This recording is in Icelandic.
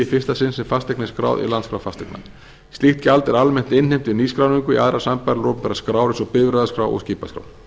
fyrsta sinn sem fasteign er skráð í landskrá fasteigna slíkt gjald er almennt innheimt við nýskráningu í aðrar sambærilegar opinberar skrár eins og bifreiðaskrá og skipaskrá